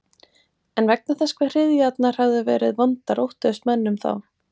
En vegna þess hve hryðjurnar höfðu verið vondar óttuðust menn um þá.